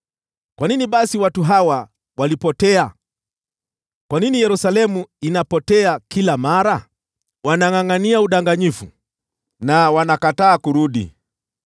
Kwa nini basi watu hawa walipotea? Kwa nini Yerusalemu inapotea kila mara? Wanangʼangʼania udanganyifu na wanakataa kurudi.